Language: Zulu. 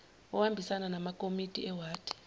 ohambisana namakomiti ewadi